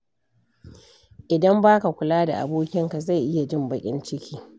Idan ba ka kula da abokinka, zai iya jin baƙin ciki.